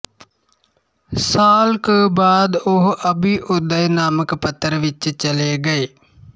ਸਾਲ ਕੁ ਬਾਅਦ ਉਹ ਅਭਿਉਦਏ ਨਾਮਕ ਪੱਤਰ ਵਿੱਚ ਚਲੇ ਗਏ